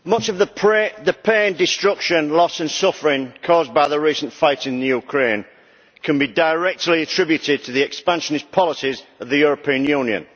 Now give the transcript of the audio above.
Mr President, much of the pain, destruction, loss and suffering caused by the recent fighting in Ukraine can be directly attributed to the expansionist policies of the European Union.